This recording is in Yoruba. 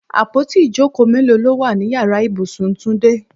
Àpótí ìjókòó mélòó ló wà nínú Ìyàrá ibùsùn túndé?